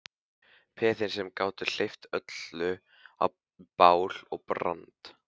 Peðin sem gátu hleypt öllu í bál og brand.